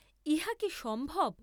ইহা কি সম্ভব?